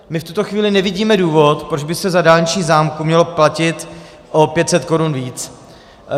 My v tuto chvíli nevidíme důvod, proč by se za dálniční známku mělo platit o 500 korun víc.